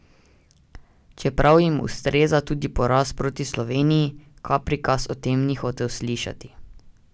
Čeprav jim ustreza tudi poraz proti Sloveniji, Krapikas o tem ni hotel slišati.